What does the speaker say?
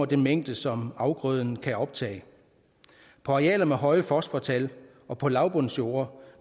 den mængde som afgrøden kan optage på arealer med høje fosfortal og på lavbundsjorder